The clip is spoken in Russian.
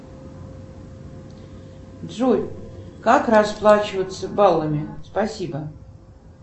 джой как расплачиваться баллами спасибо